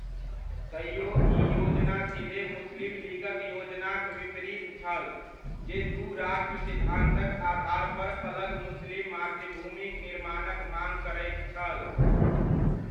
तैओ ई योजना सीधे मुस्लिम लीगक योजनाक विपरीत छल, जे दू राष्ट्र सिद्धान्तक आधार पर अलग मुस्लिम मातृभूमिक निर्माणक माङ करैत छल।